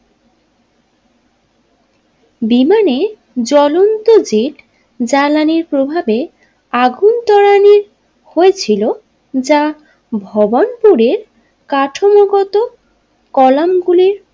বিমানে জ্বলন্ত জেট জ্বালানির প্রভাবে আগুন ত্বরানি হয়েছিল যা ভবন্তরের কাঠামোগত কলামগুলির।